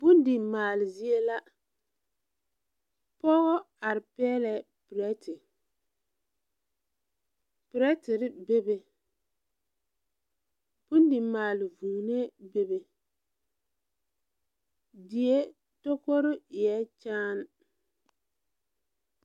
Bondi maale zie la pɔgɔ are peɛlɛɛ pirɛte pirɛterre bebe bondi maale vūūnee bebe die tokore eɛɛ kyaane.